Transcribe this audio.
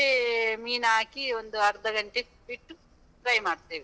ಮತ್ತೆ ಮೀನ್ ಹಾಕಿ, ಒಂದ್ ಅರ್ಧ ಗಂಟೆ ಇಟ್ ಬಿಟ್ಟು, fry ಮಾಡ್ತೀವಿ.